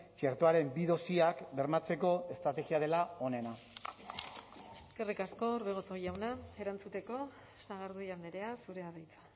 txertoaren bi dosiak bermatzeko estrategia dela onena eskerrik asko orbegozo jauna erantzuteko sagardui andrea zurea da hitza